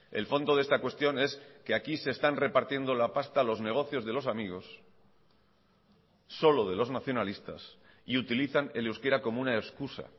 el fondo de esta cuestión es que aquí se están repartiendo la pasta los negocios de los amigos solo de los nacionalistas y utilizan el euskera como una excusa